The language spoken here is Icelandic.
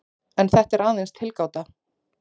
En þetta er aðeins tilgáta.